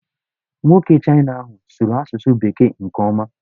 Nwoke Chịna ahụ sụrụ asụsụ bekee nke ọma.